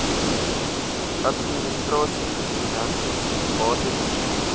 administrasie finansies batebestuur